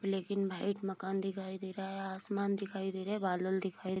black and white मकान दिखाई दे रहा है आसमान दिखाई दे रहा है बादल दिखाई --